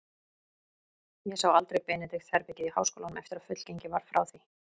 Hann sá aldrei Benedikts-herbergið í háskólanum, eftir að fullgengið var frá því.